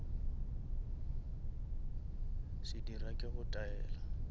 se dira ke go taela